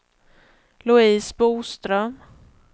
Louise Boström